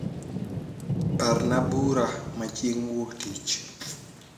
parna bura ma chieng wuok tich